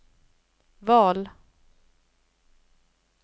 val